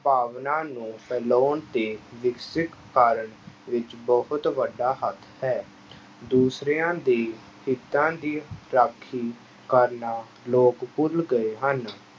ਭਾਵਨਾ ਨੂੰ ਫੈਲਾਉਣ ਤੇ ਕਾਰਨ ਵਿੱਚ ਬਹੁਤ ਵੱਡਾ ਹੱਥ ਹੈ ਦੂਸਰਿਆਂ ਦੇ ਹਿੱਤਾਂ ਦੀ ਰਾਖੀ ਕਰਨਾ ਲੋਕ ਭੁੱਲ ਗਏ ਹਨ।